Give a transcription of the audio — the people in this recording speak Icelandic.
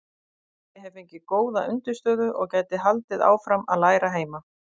Ég hefi fengið góða undirstöðu og gæti haldið áfram að læra heima.